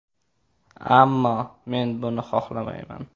Ammo men buni xohlamayman.